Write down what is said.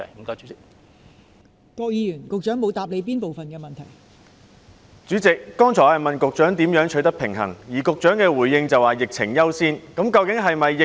代理主席，我剛才詢問局長如何在兩者之間取得平衡，局長的回應則是以疫情管控為優先。